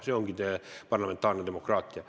See ongi parlamentaarne demokraatia.